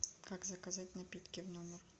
как заказать напитки в номер